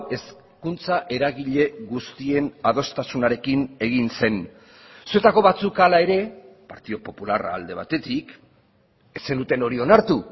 hezkuntza eragile guztien adostasunarekin egin zen zuetako batzuk hala ere partidu popularra alde batetik ez zenuten hori onartu